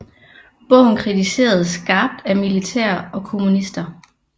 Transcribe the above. Bogen kritiseredes skarpt af militære og kommunister